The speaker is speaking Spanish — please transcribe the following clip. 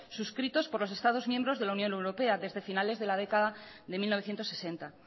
suscritos por los estados miembros de la unión europea desde finales de la década de mil novecientos sesenta